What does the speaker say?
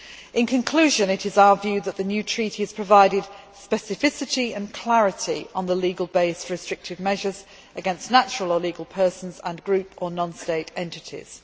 In conclusion, it is our view that the new treaty has provided specificity and clarity on the legal base for restrictive measures against natural or legal persons and groups or non state entities.